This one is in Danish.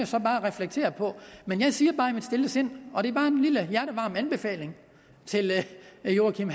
så bare reflektere på men jeg siger bare i mit stille sind og det er bare en lille hjertevarm anbefaling til herre joachim